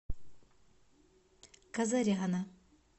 казаряна